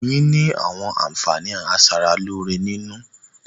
Oyin ni àwọn àǹfààní a sára lóore nínú